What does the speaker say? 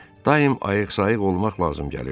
Daim ayıq-sayıq olmaq lazım gəlirdi.